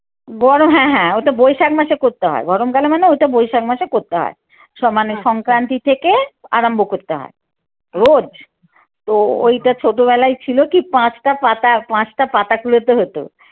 গরম হ্যাঁ হ্যাঁ, ওটা বৈশাখ মাসে করতে হয়। গরম কালে মানে ওটা বৈশাখ মাসে করতে হয়। সমানে সংক্রান্তি থেকে আরম্ভ করতে হয়। রোজ তো ওইটা ছোটবেলায় ছিল কি পাঁচটা পাতা পাঁচটা পাতা কুড়োতে হতো।